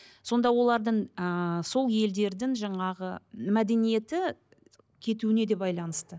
сонда олардың ыыы сол елдердің жаңағы мәдениеті кетуіне де байланысты